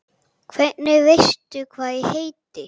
Hvernig veistu hvað ég heiti?